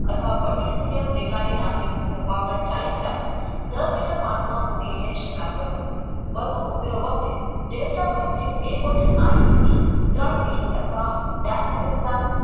અથવા પચીસ મિલિયન લેખા નામની પાવડર ચાલીસ ના દસ લીટર પાણીમાં ઉમેરીને છંટકાવ કરવો વધુ ત્રણ મિનિટ માં ડાયમેલો ના